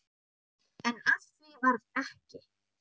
En af því varð ekki.